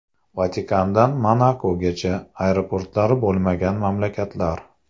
Vatikandan Monakogacha: aeroportlari bo‘lmagan mamlakatlar .